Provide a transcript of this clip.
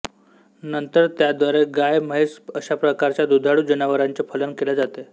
नंतर त्याद्वारे गाय म्हैस अशाप्रकारच्या दुधाळू जनावरांचे फलन केल्या जाते